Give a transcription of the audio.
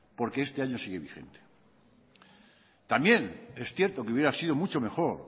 porque este año sigue vigente también es cierto que hubiera sido mucho mejor